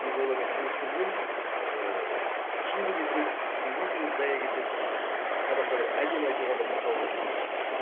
себебі олармен күрескеннен ііі күшің де кетеді сөзің де зая кетеді қазақта бір әдемі айтылған бір мақал бар